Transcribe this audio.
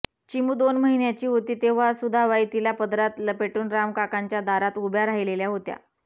चिमू दोन महिन्याची होती तेव्हा सुधाबाई तिला पदरात लपेटून रामकाकांच्या दारात उभ्या राहिलेल्या होत्या